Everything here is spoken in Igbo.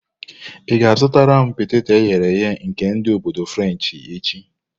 Ị ga-azụtara m peteto eghere eghe nke ndi obodo frenshi echi?